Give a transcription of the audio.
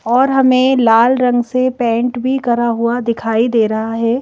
और हमें लाल रंग से पेंट भी करा हुआ दिखाई दे रहा है।